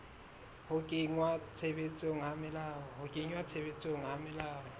ho kenngwa tshebetsong ha melao